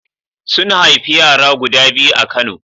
Sun haifi yara guda biyu a Kano.